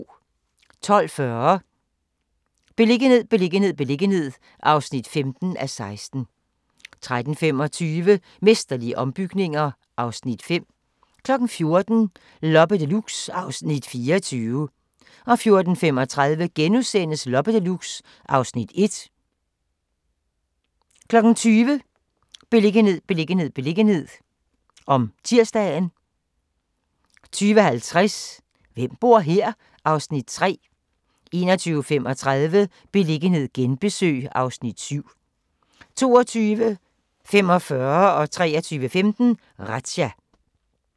12:40: Beliggenhed, beliggenhed, beliggenhed (15:16) 13:25: Mesterlige ombygninger (Afs. 5) 14:00: Loppe Deluxe (Afs. 24) 14:35: Loppe Deluxe (Afs. 1)* 14:35: Loppe Deluxe 20:00: Beliggenhed, beliggenhed, beliggenhed (tir) 20:50: Hvem bor her? (Afs. 3) 21:35: Beliggenhed genbesøg (Afs. 7) 22:45: Razzia 23:15: Razzia